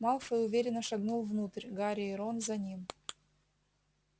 малфой уверенно шагнул внутрь гарри и рон за ним